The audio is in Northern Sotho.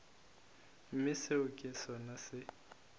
mme seo ke sona se